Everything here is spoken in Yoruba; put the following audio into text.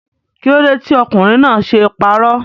Kílódé tí ọkùnrin náà ṣe parọ́?